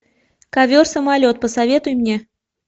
ковер самолет посоветуй мне